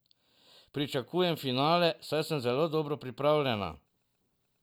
Pričakujem finale, saj sem zelo dobro pripravljena.